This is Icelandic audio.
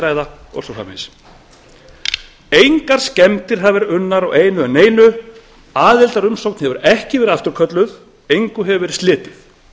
ræða og svo framvegis engar skemmdir hafa verið unnar á einu eða neinu aðildarumsókn hefur ekki verið afturkölluð engu hefur verið slitið